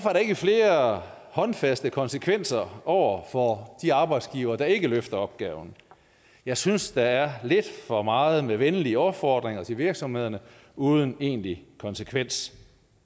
er der ikke flere håndfaste konsekvenser over for de arbejdsgivere der ikke løfter opgaven jeg synes at der er lidt for meget med venlige opfordringer til virksomhederne uden egentlig konsekvens